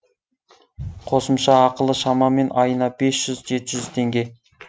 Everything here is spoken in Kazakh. қосымша ақылы шамамен айына бес жүз жеті жүз теңге